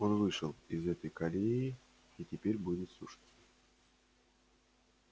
он вышел из этой колеи и теперь будет слушаться